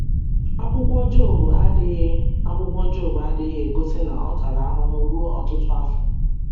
Akwụkwọ Job adịghị Akwụkwọ Job adịghị egosi na ọ tara ahụhụ ruo ọtụtụ afọ.